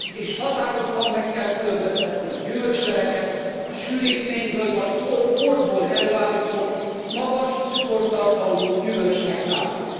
És határozottan meg kell különböztetni a gyümölcsleveket a sűrítményből vagy porból előállított, magas cukortartalmú gyümölcsnektártól.